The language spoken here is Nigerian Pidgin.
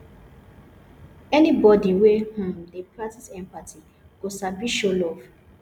anybodi wey um dey practice empathy go sabi show love